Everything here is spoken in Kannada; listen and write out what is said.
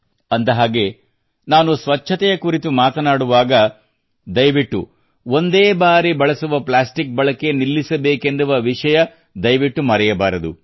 ಅಂದಹಾಗೆ ನಾನು ಸ್ವಚ್ಛತೆಯ ಕುರಿತು ಮಾತನಾಡುವಾಗ ದಯವಿಟ್ಟು ಸಿಂಗಲ್ ಯೂಸ್ಡ್ ಪ್ಲಾಸ್ಟಿಕ್ ಬಳಕೆ ನಿಲ್ಲಿಸಬೇಕೆನ್ನುವ ವಿಷಯ ದಯವಿಟ್ಟು ಮರೆಯಬಾರದು